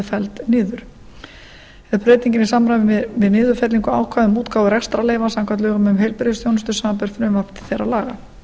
felld niður er breytingin í samræmi við niðurfellingu ákvæða um útgáfu rekstrarleyfa samkvæmt lögum um heilbrigðisþjónustu samanber frumvarp til þeirra laga